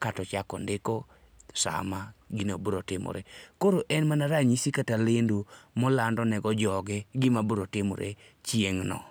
kaeto ochako ondiko saa ma gino biro timore. Koro en mana ranyisi kata lendo ma olando nego joge gima biro timore chieng'no.